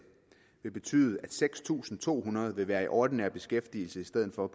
vil betyde at seks tusind to hundrede vil være kommet i ordinær beskæftigelse i stedet for at